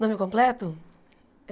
Nome completo?